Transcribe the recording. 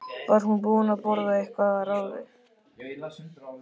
Var hún búin að borða eitthvað að ráði?